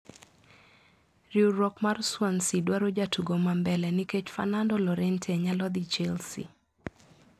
Riwruok mar Swansea dwaro jatugo mambele nikech Fernando Llorente nyalo dhi Chelsea.